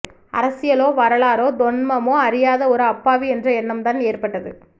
அரசியலோ வரலாறோ தொன்மமோ அறியாத ஒரு அப்பாவி என்ற எண்ணம்தான் ஏற்பட்டது